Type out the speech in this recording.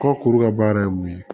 Kɔ kuru ka baara ye mun ye